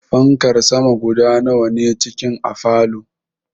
Fankar sama guda nawa ne cikin a falow?